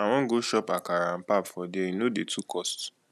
i wan go chop akara and pap for there e no dey too cost